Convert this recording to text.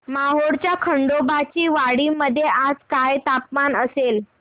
मोहोळच्या खंडोबाची वाडी मध्ये आज काय तापमान असेल